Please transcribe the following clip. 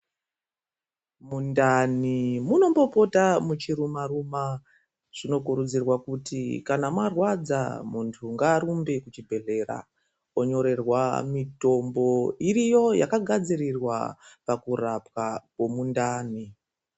Mundani munombo pota muchi makwa zvinokuridzirwa kuti kana marwadza muntu ngaarumbe mu chibhedhleya onyorewa mutombo iriyo yaka gadzirirwa pakurapwa kwe mundani.